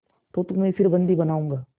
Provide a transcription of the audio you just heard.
तो तुम्हें फिर बंदी बनाऊँगा